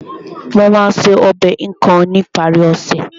Mo máa ṣe ọbẹ̀ ikong ní ìparí ọ̀sẹ̀